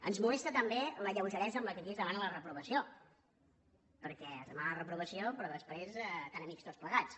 ens molesta també la lleugeresa amb què aquí es demana la reprovació perquè es demana la reprovació però després tant amics tots plegats